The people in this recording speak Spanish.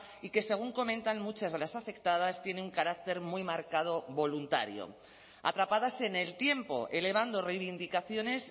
y que según comentan muchas de las afectadas tiene un carácter muy marcado voluntario atrapadas en el tiempo elevando reivindicaciones